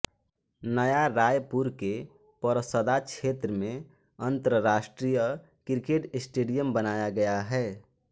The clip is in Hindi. नया रायपुर के परसदा क्षेत्र मेंअन्तर्राष्ट्रीय क्रिकेट स्टेडियम बनाया गया है